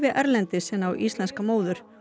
erlendis en á íslenska móður